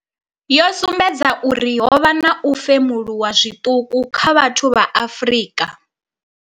Yo sumbedza uri ho vha na u femuluwa zwiṱuku kha vhathu vha Afrika.